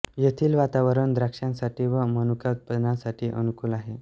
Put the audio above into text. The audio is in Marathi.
येथील वातावरण द्राक्षांसाठी व मनुका उत्पादनासाथी अनुकुल आहे